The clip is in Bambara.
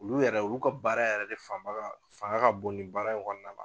Olu yɛrɛ olu ka baara yɛrɛ de fanba fanga ka bon ni baara in kɔnnɔna na.